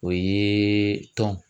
O ye tɔn.